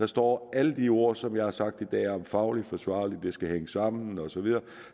står alle de ord som jeg har sagt i dag om fagligt forsvarligt at det skal hænge sammen osv